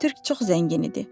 Türk çox zəngin idi.